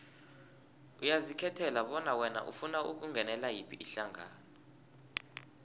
uyazikhethela bona wena ufuna ukungenela yiphi ihlangano